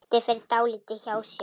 Doddi fer dálítið hjá sér.